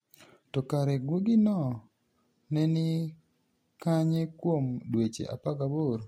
To kare guogino ni e nii kaniye kuom dweche 18?